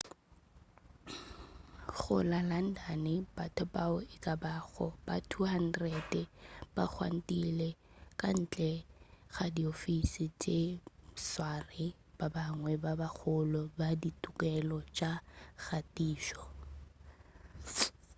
go la london batho bao ekabago ba 200 ba gwantile ka ntle ga diofese tša batsware ba bangwe ba bagolo ba ditokelo tša kgatišo